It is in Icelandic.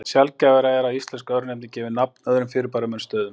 Sjaldgæfara er að íslensk örnefni gefi nafn öðrum fyrirbærum en stöðum.